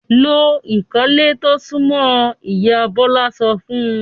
"Lo ìkọ́lé tó súnmọ́ ọ!" Ìyá Bọ́lá sọ fún un.